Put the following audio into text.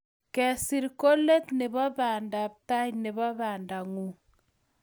Kesir ko let nebo panda ma tai nebo pandangung